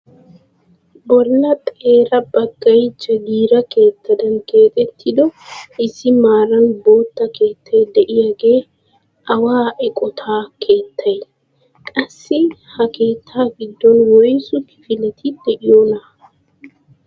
Bolla xeera baggay jagiira keettaadan keexettido issi meran bootta keettay de'iyaagee awa eqotaa keettay? qassi ha keettaa giddon woysu kifileti de'iyoonaa?